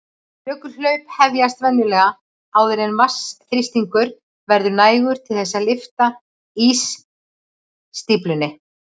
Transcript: Jökulhlaup hefjast venjulega áður en vatnsþrýstingur verður nægur til þess að lyfta ísstíflunni.